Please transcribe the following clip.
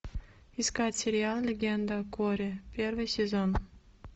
искать сериал легенда о корре первый сезон